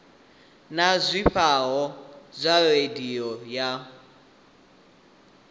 na zwifhao zwa radio ya